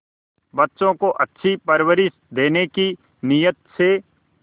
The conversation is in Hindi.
बच्चों को अच्छी परवरिश देने की नीयत से